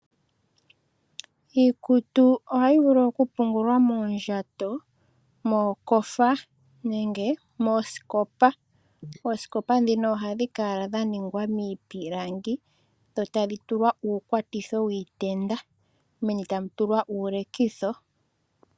Iikutu ohayi vulu okupungulwa moondjato mookofa nenge moosikopa ,oosikopa dhino ohadhi kala dha ningwa miipilangi meni tamu tulwa uukwatitho wuutenda meni tamu tulwa uulekitho.